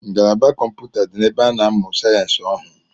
Ngalaba kọmpụta di n’ebe a na-amụ sayensi ọhụụ